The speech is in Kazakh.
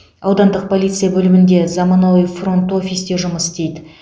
аудандық полиция бөлімінде заманауи фронт офис те жұмыс істейді